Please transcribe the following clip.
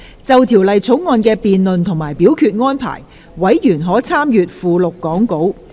就《條例草案》的辯論及表決安排，委員可參閱講稿附錄。